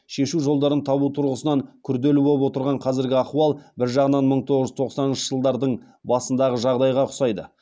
шешу жолдарын табу тұрғысынан күрделі боп отырған қазіргі ахуал бір жағынан мың тоғыз жүз тоқсаныншы жылдардың басындағы жағдайға ұқсайды